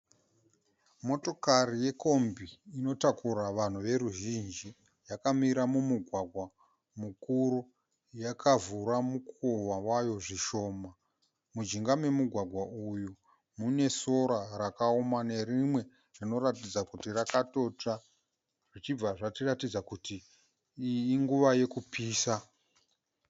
Motokari yekombi inotakura vanhu veruzhinji yakamira mumugwagwa mukuru yakavhura mukova wayo zvishoma. Mujinga memugwagwa uyu mune sora rakaoma nerimwe rinoratidza kuti rakatotsva zvichibva zvatiratidza kuti iyi inguva yokupisa.